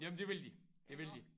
Jamen det vil de det vil de